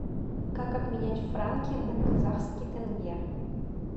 как обменять франки на казахский тенге